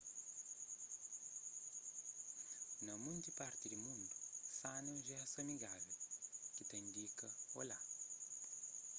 na monti parti di mundu sana é un jestu amigável ki ta indika olá